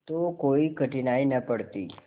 तो कोई कठिनाई न पड़ती